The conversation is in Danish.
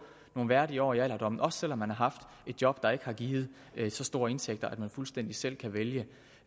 nogle værdige år i alderdommen også selv om man har haft et job der ikke har givet så store indtægter at man fuldstændig selv kan vælge